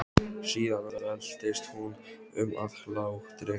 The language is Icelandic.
Síðan veltist hún um af hlátri.